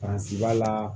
Paransi b'a la